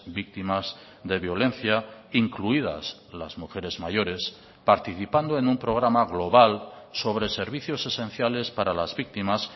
víctimas de violencia incluidas las mujeres mayores participando en un programa global sobre servicios esenciales para las víctimas